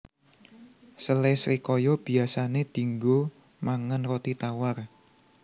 Sele srikaya biyasané dianggo mangan roti tawar